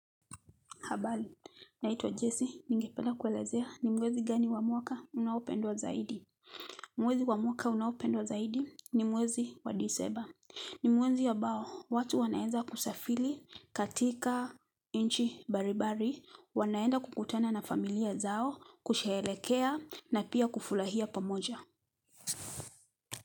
Habali, naitwa Jesse, ningependa kuelezea ni mwezi gani wa mwaka unaopendwa zaidi. Mwezi wa mwaka unaopendwa zaidi ni mwezi wa diseba. Ni mwezi abao, watu wanaenza kusafili katika nchi baribari, wanaenda kukutana na familia zao, kushehelekea na pia kufulahia pamoja.